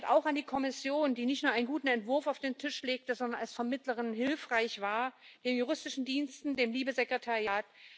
Der Dank geht auch an die Kommission, die nicht nur einen guten Entwurf auf den Tisch gelegt hat, sondern als Vermittlerin hilfreich war, den Juristischen Dienst, das LIBE Sekretariat.